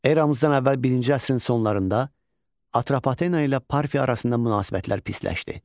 Eramızdan əvvəl birinci əsrin sonlarında Atropatena ilə Parfiya arasında münasibətlər pisləşdi.